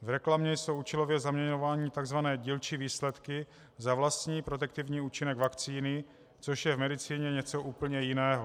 V reklamě jsou účelově zaměňovány tzv. dílčí výsledky za vlastní protektivní účinek vakcíny, což je v medicíně něco úplně jiného.